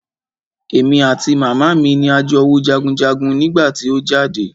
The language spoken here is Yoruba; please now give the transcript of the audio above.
Èmi àti màmá mi ni a jọ wo jagunjagun nígbà tí o jáde.